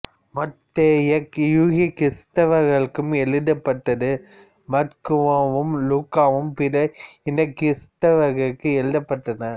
மத்தேயு யூதகிறிஸ்தவர்களுக்கு எழுதப்பட்டது மாற்குவும் லூக்காவும் பிற இனகிறிஸ்தவர்களுக்கு எழுதப்பட்டன